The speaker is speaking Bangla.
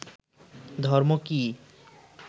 ধর্ম কী